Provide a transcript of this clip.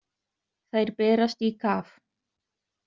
Þær berast í kaf.